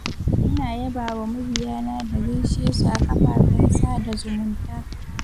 ina yabawa mabiyana da gaishe su a kafafen sada zumunta